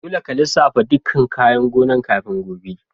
Dolle ka lissafa ɗukan kayan gonan' kafin gobe!